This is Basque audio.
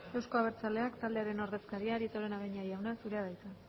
euzko abertzaleak taldearen ordezkaria arieta araunabeña jauna zurea da hitza